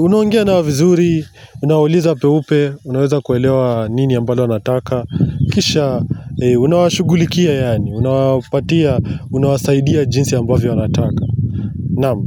unaongea na wazuri, unuoliza peupe, unuweza kuwelewa nini ambalo na ataka. Kisha, unuashughuliki yaani, unuwasaidia jinsi ambavo na wanataka. Nam.